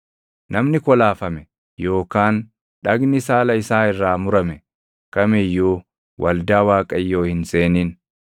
Namni kolaafame yookaan dhagni saala isaa irraa murame kam iyyuu waldaa Waaqayyoo hin seenin.